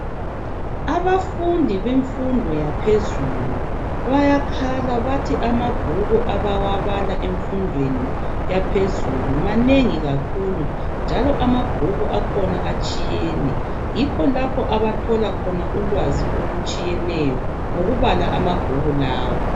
Abafundi bemfundo yaphezulu bayakhala bathi amabhuku abawabala emfundweni yaphezulu manengi kakhulu njalo amabhuku akhona atshiyene yikho lapho abathola khona ulwazi olutshiyeneyo ngukubala amabhuku lawa.